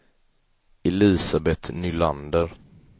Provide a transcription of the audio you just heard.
Elisabet Nylander